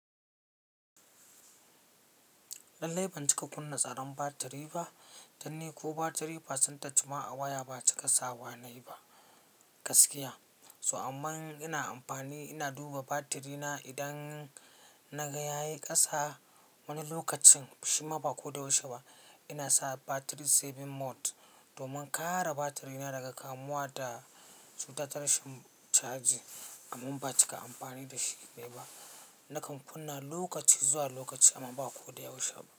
Lallai ban cika kunna tsaron batiri ba dan ni ko batiri percentage ma a waya ba cika sawa na yi ba gaskiya. So amma in ina amfani ina duba batiri na idan naga ya yi kasa wani lokacin shima ba ko da yaushe ba ina saka battery saving mode domin kare batiri na daga kamuwa da cuta ta rashin caji. Amma ban cika amfani da shi mai ba. Nakan kunna lokaci zuwa lokaci amma ba ko da yaushe ba.